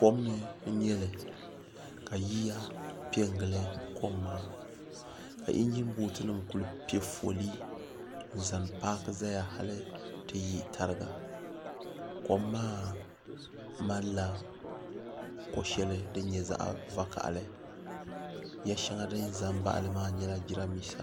kom ni n-nyɛ li ka yiya pe n-gili kom maa ka injinbootunima kuli pe foolii n-zaŋ paaki zaya hali ti yi tariga kom maa malila ko' shɛli din nyɛ zaɣ' vakahili ya' shɛŋa din za n-baɣi li maa nyɛla jirambiisa